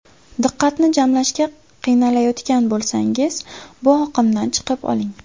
Diqqatni jamlashga qiynalyotgan bo‘lsangiz, bu oqimdan chiqib oling.